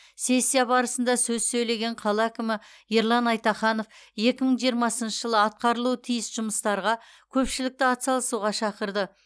сессия барысында сөз сөйлеген қала әкімі ерлан айтаханов екі мың жиырмасыншы жылы атқарылуы тиіс жұмыстарға көпшілікті атсалысуға шақырды